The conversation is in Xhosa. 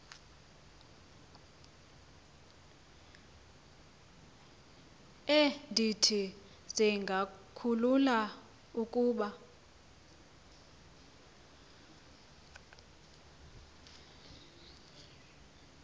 endithi zingakhulula ukuba